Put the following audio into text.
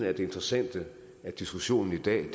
er det interessante i diskussionen i dag